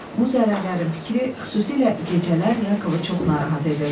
Bu zərərlərin fikri xüsusilə gecələr Yakovu çox narahat edirdi.